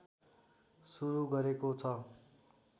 सुरु गरेको छ